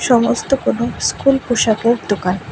সমস্ত কোনো স্কুল পোশাকের দোকান।